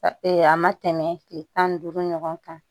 a ma tɛmɛ kile tan ni duuru ɲɔgɔn kan